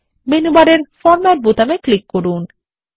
menu বারের format বোতামে click করুন